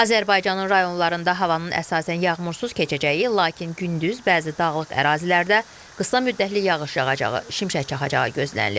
Azərbaycanın rayonlarında havanın əsasən yağmursuz keçəcəyi, lakin gündüz bəzi dağlıq ərazilərdə qısa müddətli yağış yağacağı, şimşək çaxacağı gözlənilir.